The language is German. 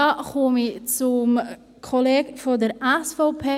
Damit komme ich zum Kollegen der SVP: